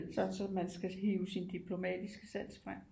Sådan så man skal hive sin diplomatiske sans frem